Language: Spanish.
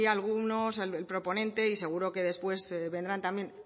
algunos el proponente y seguro que después vendrán también